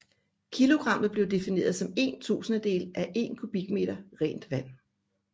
Kilogrammet blev defineret som én tusindedel af én kubikmeter rent vand